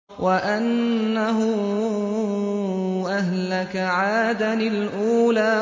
وَأَنَّهُ أَهْلَكَ عَادًا الْأُولَىٰ